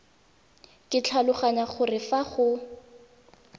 ke tlhaloganya gore fa go